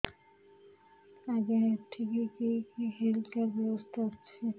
ଆଜ୍ଞା ଏଠି କି କି ହେଲ୍ଥ କାର୍ଡ ବ୍ୟବସ୍ଥା ଅଛି